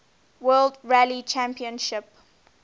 world rally championship